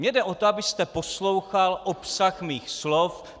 Mně jde o to, abyste poslouchal obsah mých slov.